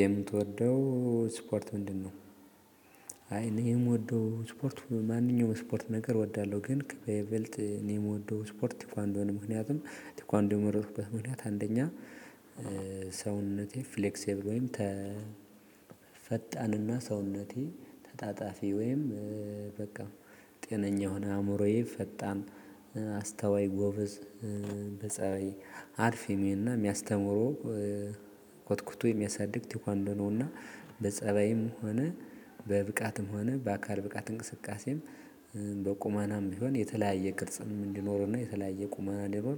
የምትወደው ስፖርት ምንድነው? አይ እኔ የምወደው ስፖርት ማንኛውም ስፖርት ነገር እወዳለሁ። ግን በይበልጥ እኔ የምወደው ስፖርት ቴክዋንዶ ምክንያቱም ቴክዋንዶ የመረጥኩበት ምክንያት አንደኛ። ሰውነቴ ፍሌክሲብል ወይም ተ ፈጣንና ሰውነቴ ተጣጣፊ ወይም በቃ ጤነኛ የሆነ አእምሮዬ ፈጣን አስተዋይ ጎበዝ በፀሀይ አልፊሜና የሚያስተምሩ ኮትኩቶ የሚያሳድግ ቴኳንዶ ነውና። በፀባይም ሆነ በብቃትም ሆነ በአካል ብቃት እንቅስቃሴም በቁመናም ቢሆን የተለያየ ቅርጽም እንዲኖረን ነው። የተለያየ ቁማና ደግሞ